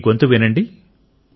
ఈ గొంతు వినండి